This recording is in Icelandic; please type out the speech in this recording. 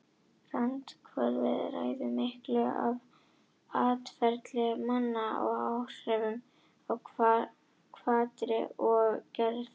Randkerfið ræður miklu um atferli manna með áhrifum á hvatir og geðhrif.